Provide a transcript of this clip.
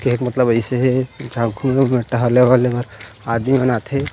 के हे मतलब ऐसे हे जा घूम टहले वहले आदमी मन आ थे--